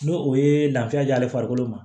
N'o o ye lafiya diya'ale farikolo ma